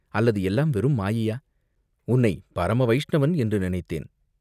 அல்லது எல்லாம் வெறும் மாயையா, உன்னைப் பரம வைஷ்ணவன் என்று நினைத்தேன்.